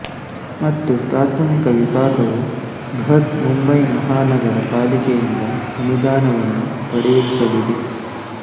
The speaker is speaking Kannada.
ಮತ್ತು ಪ್ರಾಥಮಿಕ ವಿಭಾಗವು ಬೃಹತ್ ಮುಂಬಯಿ ಮಹಾನಗರ ಪಾಲಿಕೆಯಿಂದ ಅನುದಾನವನ್ನು ಪಡೆಯುತ್ತಲಿದೆ